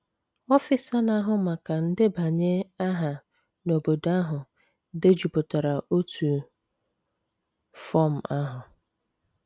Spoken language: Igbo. Ọfịsa na - ahụ maka ndebanye aha n’obodo ahụ dejupụtara otu fọm ahụ.